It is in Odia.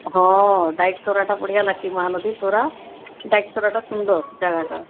ହଁ ଡ଼ାଈ ତରା ତ ବଢିଆ ଲାଗୁଛେ ମହାନଦୀ ତରା ଡ଼ାଈ ତରା ତ ସୁନ୍ଦର ଜାଗା ଟା